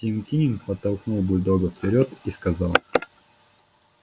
тим кинен подтолкнул бульдога вперёд и сказал